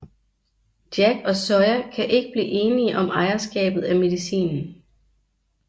Jack og Sawyer kan ikke blive enige om ejerskabet af medicinen